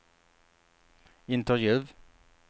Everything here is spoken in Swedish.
intervju